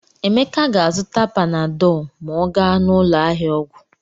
Emeka ga-azụta panadọlụ ma ọ gaa n'ụlọ ahịa ọgwụ.